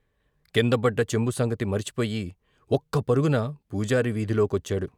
కిందపడ్డ చెంబు సంగతి మర్చిపోయి ఒక్క పరుగున పూజారి వీధిలో కొచ్చాడు.